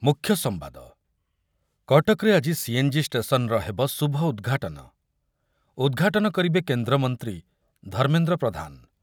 ମୁଖ୍ୟ ସମ୍ବାଦ, କଟକରେ ଆଜି ସିଏନ୍‌ଜି ଷ୍ଟେସନ୍‌ର ହେବ ଶୁଭ ଉଦ୍‌ଘାଟନ, ଉଦ୍‌ଘାଟନ କରିବେ କେନ୍ଦ୍ରମନ୍ତ୍ରୀ ଧର୍ମେନ୍ଦ୍ର ପ୍ରଧାନ